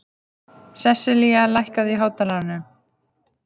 Seselía, lækkaðu í hátalaranum.